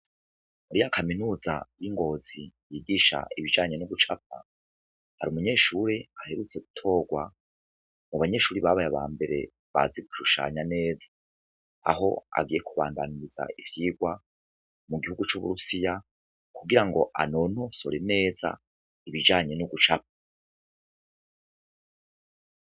Mari ya kaminuza y'ingozi yigisha ibijanye n'ugucapa hari umunyeshuri aherutse gutorwa mu banyeshuri babaye ba mbere bazi kurushanya neza aho agiye kubandaniriza ivyirwa mu gihugu c'uburusiya kugira ngo anonosore neza ibijanye n'ugucapa.